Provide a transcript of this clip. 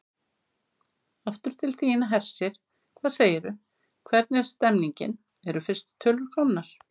Aftur til þín, Hersir, hvað segirðu, hvernig er stemningin, eru fyrstu tölur komnar?